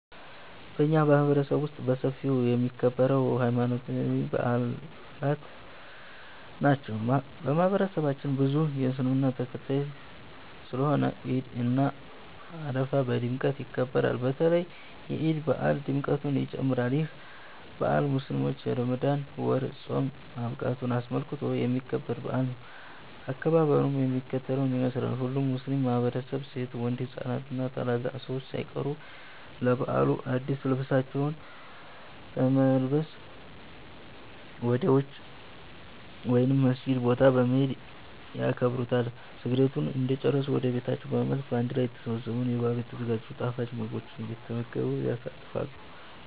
በኛ ማህበረሰብ ውስጥ በሰፊው የሚከበረው ሀይማኖታዊ በአላት ናቸው። በማህበረሰባችን ብዙ ሰው የእስልምና ተከታይ ስለሆነ ዒድ እና አረፋ በድምቀት ይከበራሉ። በተለይ የዒድ በአል ድምቀቱ ይጨምራል። ይህ በአል ሙስሊሞች የረመዳን ወር ፆም ማብቃቱን አስመልክቶ የሚከበር በአል ነው። አከባበሩም የሚከተለውን ይመስላል። ሁሉም ሙስሊም ማህበረሰብ ሴት፣ ወንድ፣ ህፃናት እና ታላላቅ ሰዎች ሳይቀሩ ለበዓሉ አድስ ልብሳቸውን በመልበስ ወደ ውጪ (ሜዳ) ወይም መስገጃ ቦታ በመሄድ ያከብሩታል። ስግደቱን እንደጨረሱ ወደ ቤታቸው በመመለስ በአንድ ላይ ተሰባስበው ለበዓሉ የተዘጋጅቱን ጣፋጭ ምግቦች እየተመገቡ ያሳልፋሉ።